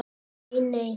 Nei, nei